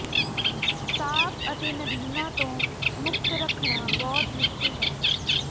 ਸਾਫ ਅਤੇ ਨਦੀਨਾਂ ਤੋਂ ਮੁਕਤ ਰੱਖਣਾ ਬਹੁਤ ਮੁਸ਼ਕਿਲ ਹੈ